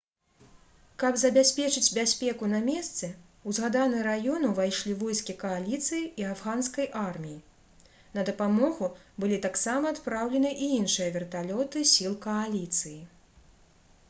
каб забяспечыць бяспеку на месцы у згаданы раён увайшлі войскі кааліцыі і афганскай арміі на дапамогу былі таксама адпраўлены і іншыя верталёты сіл кааліцыі